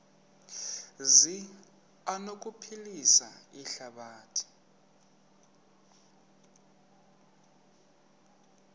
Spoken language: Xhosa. zi anokuphilisa ihlabathi